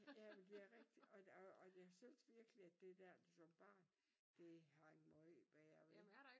Ja men det er rigtigt og og og jeg synes virkelig at det der som barn det hang måj bedre ved